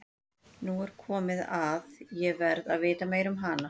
Nú er svo komið að ég verð að vita meira um hana.